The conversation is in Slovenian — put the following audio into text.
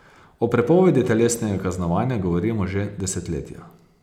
O prepovedi telesnega kaznovanja govorimo že desetletja.